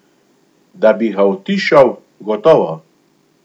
Da bi ga utišal, gotovo.